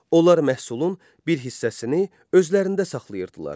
Onlar məhsulun bir hissəsini özlərində saxlayırdılar.